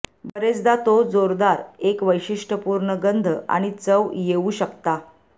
बरेचदा तो जोरदार एक वैशिष्ट्यपूर्ण गंध आणि चव येऊ शकता